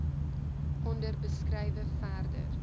onder beskrywe verder